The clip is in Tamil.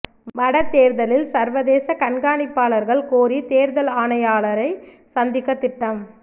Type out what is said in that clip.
வட தேர்தலில் சர்வதேச கண்காணிப்பாளர்கள் கோரி தேர்தல் ஆணையாளரை சந்திக்க திட்டம்